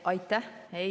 Aitäh!